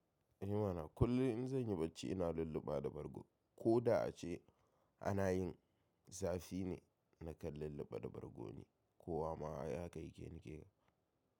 I mana kullum in zan yi bacci ina lulluba da bargo. Ko da a ce ana yin zafi ne na kan lulluɓe da bargo ne ko wa ma ya ka yi ke ni ke yi.